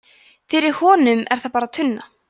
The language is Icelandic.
fyrir honum er það bara tunna